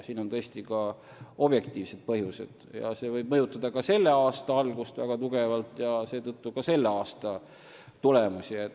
Sellel on tõesti ka objektiivsed põhjused ja see võib väga tugevalt mõjutada selle aasta algust, seega ka selle aasta tulemusi.